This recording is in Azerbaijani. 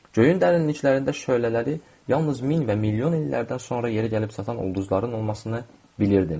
Göyün dərinliklərində şölələri yalnız min və milyon illərdən sonra yerə gəlib çatan ulduzların olmasını bilirdim.